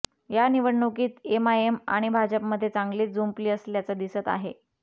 या निवडणुकीत एमआयएम आणि भाजपमध्ये चांगलीच जुंपली असल्याचं दिसत आहे